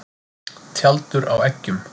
Tjaldur á eggjum.